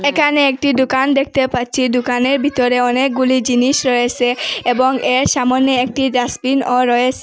একানে একটি দুকান দেখতে পাচ্ছি দুকানের ভিতরে অনেকগুলি জিনিস রয়েসে এবং এর সামোনে একটি ডাস্টবিনও রয়েসে।